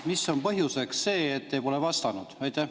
Mis on põhjuseks, et te pole vastanud?